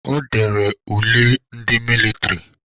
Ọ dere ule ndị mịlịtrị.